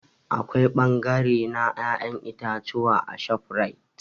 Akwai bangare na ya'yan itatuwa a ShopRite.